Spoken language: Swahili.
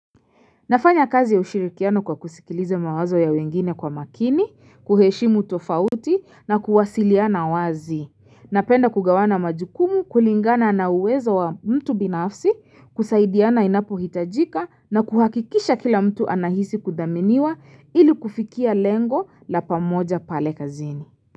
Nafanya kazi ya ushirikiano kwa kusikiliza mawazo ya wengine kwa makini, kuheshimu tofauti na kuwasiliana wazi. Napenda kugawana majukumu kulingana na uwezo wa mtu binafsi, kusaidiana inapo hitajika na kuhakikisha kila mtu anahisi kudhaminiwa ili kufikia lengo la pamoja pale kazini.